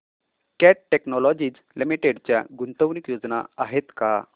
cat Technologies Limited च्या गुंतवणूक योजना आहेत का